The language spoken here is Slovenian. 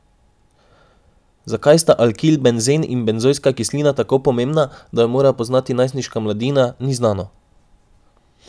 Zakaj sta alkilbenzen in benzojska kislina tako pomembna, da ju mora poznati najstniška mladina, ni znano.